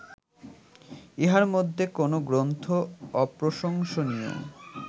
ইহার মধ্যে কোন্ গ্রন্থ অপ্রশংসনীয়